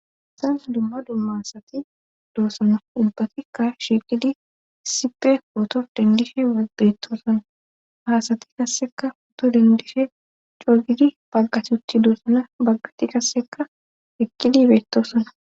Hayssan dumma dumma asati doossona ubbatikka shiiqidi sipe hoto dendifhe abetoosana haasati kasseka hooto dendishe cogidi baggat utti doosana baggati kasseka eqqii beettosona